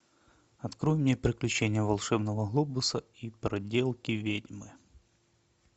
открой мне приключения волшебного глобуса и проделки ведьмы